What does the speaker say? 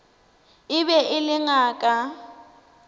e be e le ngaka